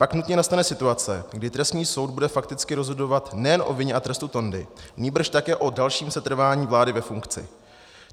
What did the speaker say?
Pak nutně nastane situace, kdy trestní soud bude fakticky rozhodovat nejen o vině a trestu Tondy, nýbrž také o dalším setrvání vlády ve funkci.